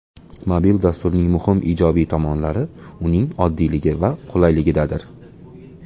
Mobil dasturning muhim ijobiy tomonlari uning oddiyligi va qulayligidadir.